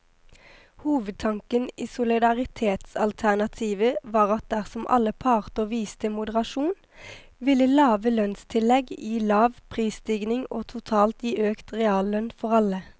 Hovedtanken i solidaritetsalternativet var at dersom alle parter viste moderasjon, ville lave lønnstillegg gi lav prisstigning og totalt gi økt reallønn for alle.